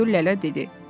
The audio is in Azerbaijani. Kudu Lələ dedi.